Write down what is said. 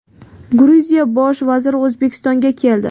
Gruziya bosh vaziri O‘zbekistonga keldi.